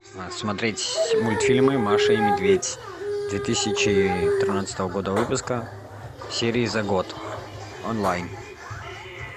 смотреть мультфильмы маша и медведь две тысячи тринадцатого года выпуска серии за год онлайн